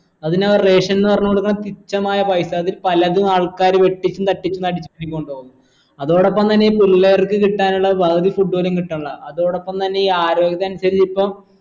അതിനവർ ration ന്ന് പറഞ്ഞു കൊടുക്കുന്ന തുച്ഛമായ പൈസ അതിൽ പലതും ആൾക്കാർ വെട്ടിപ്പും തട്ടിപ്പും അടിച്ഛ് നടിച്ചിട്ട് കൊണ്ടുപോവും അതോടൊപ്പം തന്നെ ഈ പുള്ളേർക്ക് കിട്ടാനിള്ള പകുതി food പോലും കിട്ടണില്ല അതോടപ്പം തന്നെ ഈ ആരോഗ്യ pension ൽ ഇപ്പം